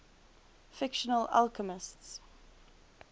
fictional alchemists